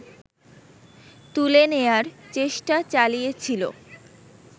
তুলে নেয়ার চেষ্টা চালিয়েছিল